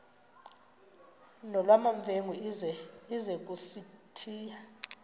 nolwamamfengu ize kusitiya